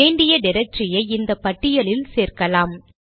வேண்டிய டிரக்டரியை இந்த பட்டியலில் சேர்க்கலாம்